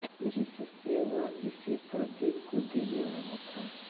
जिससे वह इसे प्रदीप को देने वाला था